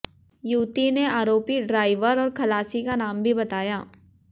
युवती ने आरोपी ड्राईवर और खलासी का नाम भी बताया